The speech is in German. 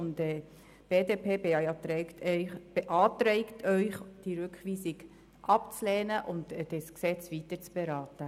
Die BDP beantragt Ihnen, die Rückweisung abzulehnen und das Gesetz weiter zu beraten.